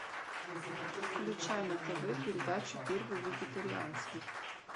включай на тв передачу первый вегетарианский